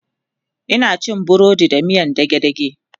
Ina cin burodi da miyan dage dage